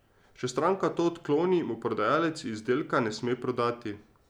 Če stranka to odkloni, mu prodajalec izdelka ne sme prodati.